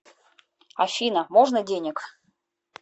афина можно денег